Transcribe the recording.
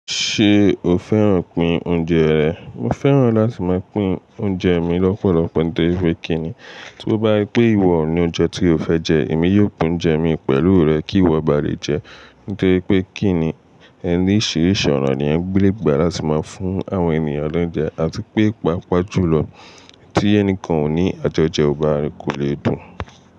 Ṣé o fẹ́ràn pín oúnjẹ rẹ̀? Mo fẹ́ràn láti máa pín oúnjẹ mi lọ́pọ̀lọpọ̀ nítorí pé kí ni tí ó bá wípé ìwọ ò ní oúnjẹ tí o fẹ́ jẹ, èmi yóò pín oúnjẹ mi pẹ̀lú rẹ kí ìwọ ba lè jẹ́. Nítorí pé kí ni ẹni oríṣiríṣi ọ̀nà ni èyàn lè gbà láti máa fún àwọn ènìyàn lóúnjẹ. Àti pé pàápàá jùlọ tí ẹnìkan ò ní àjọjẹ, ó bá kò lè dùn.